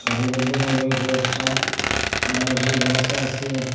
সারিবদ্ধভাবে কয়েকটা আনারসের গাস আসে।